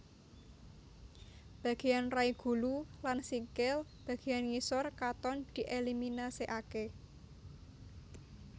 Bageyan rai gulu lan sikil bageyan ngisor katon dieliminasekake